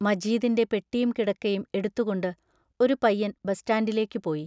മജീദിന്റെ പെട്ടിയും കിടക്കയും എടുത്തുകൊണ്ട് ഒരു പയ്യൻ ബസ്സ്റ്റാൻഡിലേക്കു പോയി.